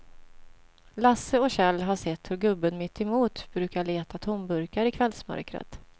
Lasse och Kjell har sett hur gubben mittemot brukar leta tomburkar i kvällsmörkret.